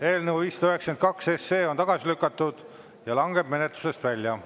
Eelnõu 592 on tagasi lükatud ja langeb menetlusest välja.